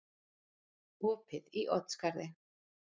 Opið í Oddsskarði